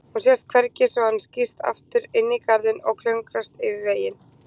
Hún sést hvergi svo hann skýst aftur inn í garðinn og klöngrast yfir vegginn.